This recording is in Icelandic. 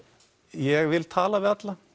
ég vil tala við alla